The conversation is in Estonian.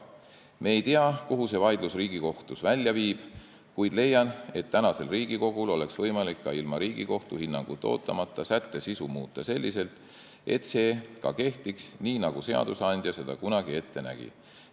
Ma ei tea, kuhu see vaidlus Riigikohtus välja viib, kuid leian, et tänasel Riigikogul oleks võimalik ka ilma Riigikohtu hinnangut ootamata muuta sätte sisu selliselt, et see ka kehtiks, nii nagu seadusandja seda kunagi ette nägi.